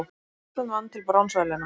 Ísland vann til bronsverðlauna